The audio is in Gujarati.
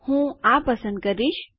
હું આ પસંદ કરીશ